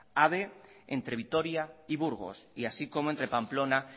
ave entre vitoria y burgos así como entre pamplona